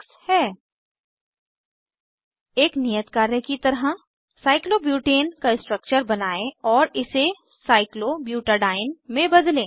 एक नियत कार्य की तरह साइक्लोब्यूटेन साइक्लोब्यूटेन का स्ट्रक्चर बनायें और इसे साइक्लोब्यूटेडीन साइक्लोब्यूटाडाइन में बदलें